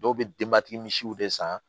Dɔw bɛ denbatigi misiw de san